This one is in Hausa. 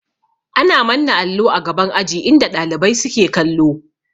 Ana manna allo a gaban aji inda ɗalibai suke kallo